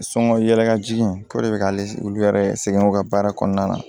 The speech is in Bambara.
Sɔngɔ yɛlɛkajigi in k'o de be k'ale olu yɛrɛ sɛgɛn u ka baara kɔnɔna na